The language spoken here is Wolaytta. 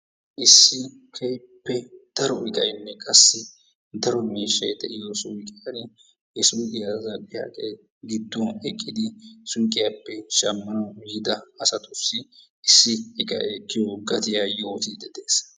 issi keehippe daro gidaynne daro miishay de'iyo suuqiyani he suuqiya zal'iyagee giduwan eqid suuqiyaappe shamanwu yiida asatussi issi iqqay ekkiyo gattiya yootiidi de'ees.